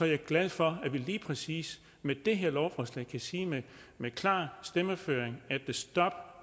jeg glad for at vi lige præcis med det her lovforslag kan sige med klar stemmeføring